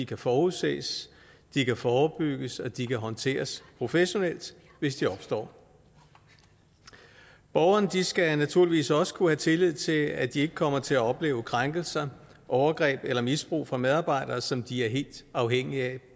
kan forudses de kan forebygges og de kan håndteres professionelt hvis de opstår borgerne skal naturligvis også kunne have tillid til at de ikke kommer til at opleve krænkelser overgreb eller misbrug fra medarbejdere som de er helt afhængige af